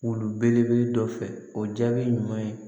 Wulu belebele dɔ fɛ o jaabi ɲuman ye